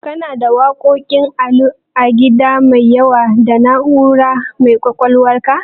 Kana da waƙoƙin Ali Gida da yawa a Na'ura mai ƙwaƙwalwarka?